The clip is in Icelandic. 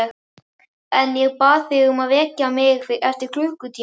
En ég bað þig að vekja mig eftir klukkutíma.